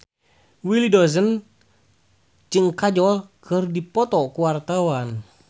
Willy Dozan jeung Kajol keur dipoto ku wartawan